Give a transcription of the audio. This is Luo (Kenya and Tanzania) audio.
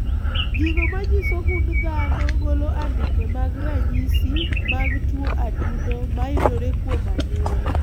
Gigo manyiso gund dhano golo andike mag ranyisi mag tuo adundo mayudore kuom anyuola